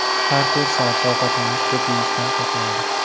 Har to‘rt soatda ovqatlanish ko‘p yeyishdan saqlaydi.